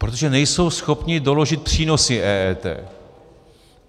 Protože nejsou schopny doložit přínosy EET.